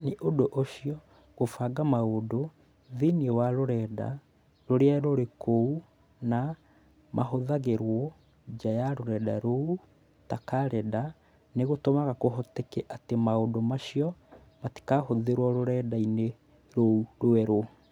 Nĩ ũndũ ũcio, kũbanga maũndũ thĩinĩ wa rũrenda rũrĩa rũrĩ kuo na mahũthagĩrũo nja ya rũrenda rou, ta karenda, nĩ gũtũmaga kũhoteke atĩ maũndũ macio matikahũthĩrũo rũrenda-inĩ rou rwerũ.